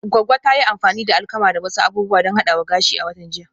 Goggo ta yi amfani da alkama da wasu abubuwa don hadawa gashi a watan jiya